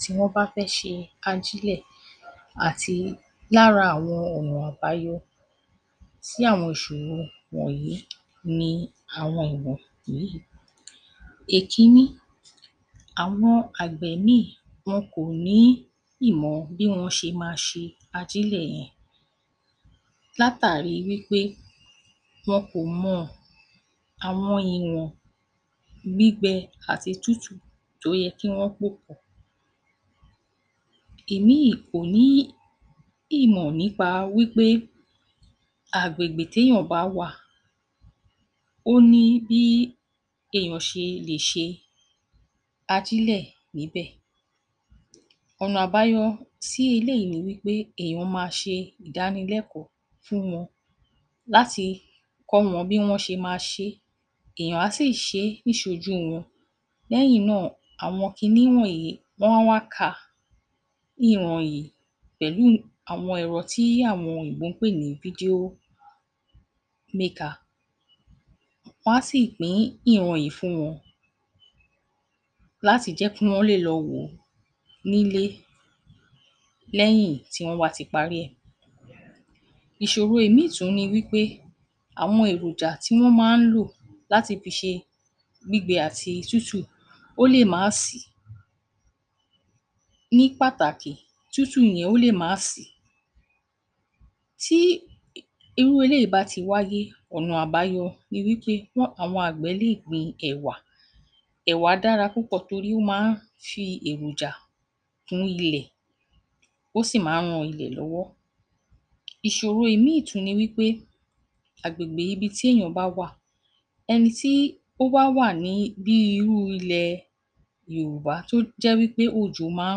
Tí wọ́n bá fẹ́ ṣe kájílẹ̀ àti lára àwọn ọ̀nà àbáyọ sí àwọn ìṣòro wọ̀nyí ni àwọn ọ̀nà yìí; Èkíní, àwọn àgbè míì wọn kò ní ìmọ̀ bí wọ́n ṣe ma ṣe ajílẹ̀ yẹn látàrí wí pé wọn kò mọ̀ àwọn ìwọ̀n gbígbẹ àti tútù tó yẹ kí wọ́n pò pọ̀, ìmíì kò ní ìmọ̀ nípa wí pé agbègbè téyàn bá wà ó ní bí eèyàn ṣe lè ṣe ajílẹ̀ níbẹ̀. Ọ̀nà àbáyọ sí eléyìí ni wí pé eèyàn má ṣe ìdánilẹ́kọ̀ọ́ fún wọn láti kọ́ wọn bí wọ́n ṣe ma ṣe é, eèyàn á sì ṣe e niṣojú wọn, lẹ́yìn náà àwọn kiní wọ̀nyí wọ́n á wá kà ní ìran yìí pẹ̀lú àwọn ẹ̀rò tí àwọn òyìnbó ń pè ní video maker wọn á sì pín ìran yìí fún wọn láti jẹ́ kí wọ́n lè lọ wò ó nílé lẹyìn tí wọ́n bá ti parí ẹ̀. Ìṣòro ìmíì tún ni wí pé, àwọn èròjà tí wọ́n máa ń lò láti fi ṣe gbígbẹ àti tútù ó lè má sìí, ní pàtàkì tútù yẹn ó lè má sìí. Tí irú eléyìí bá ti wáyé, ọ̀nà àbáyọ ni wí pé àwọn àgbẹ̀ lè gbin ẹ̀wà, ẹ̀wà dára púpọ̀ torí ó máa ń fi èròjà kún ilẹ̀ ó sì máa ń ran ilẹ̀ lọ́wọ́. Ìṣòro ìmíì tún ni wí pé, agbègbè ibi tí eèyàn bá wà, ẹni tí ó bá wà ní bí irú ilẹ̀ Yorùbá tó jẹ́ wí pé òjò máa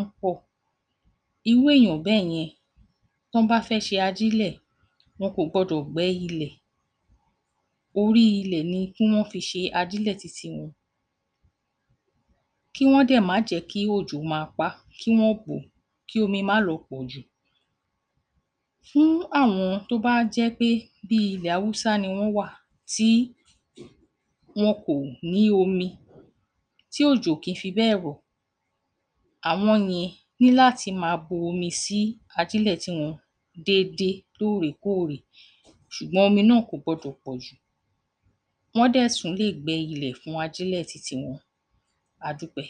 ń pọ̀, irú eèyàn bẹ́yẹn, tọ́ bá fẹ́ ṣe ajílẹ̀, wọn kò gbọdọ̀ gbẹ́ ilẹ̀, orí ilẹ̀ ni kí wọ́n fi ṣe ajílẹ̀ titi wọn kí wọ́n dẹ̀ má jẹ́ kí òjò ma pa á, kí wọ́n bò o kí omi má lọ pọ̀ jù. Fún àwọn tó bá jẹ́ pé bí i ilẹ̀ Awụ́sá ni wọ́n wà tí wọn kò ní omi, ti òjò ò kí ń fi bẹ́ẹ̀ rọ̀, àwọn yẹn ní láti máa bomi sí ajílẹ̀ tiwọn déédé lóòrèkóòrè ṣùgbọ́n omi náà ò gbọdọ̀ pọ̀ jù, wọ́n dẹ̀ tún lè gbẹ ilẹ̀ fún ajílẹ̀ titi wọn, adúpẹ́.